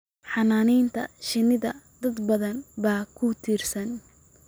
Xannaanada shinnida dad badan baa ku tiirsan